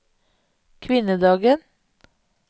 kvinnedagen